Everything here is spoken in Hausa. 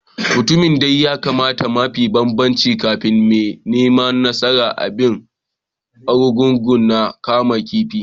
Mutumin de ya kama mafi babban kifin ne mai nasaran bikin Argungu na kaman kifi.